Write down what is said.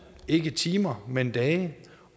ikke timer men dage